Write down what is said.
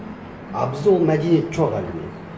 а бізде ол мәдениет жоқ әлі күнге